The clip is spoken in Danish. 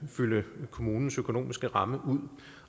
fylde kommunens økonomiske ramme ud